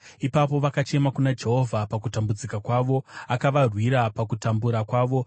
Ipapo vakachema kuna Jehovha pakutambudzika kwavo, akavarwira pakutambura kwavo.